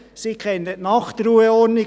Sie kennen die Nachtruheordnung nicht;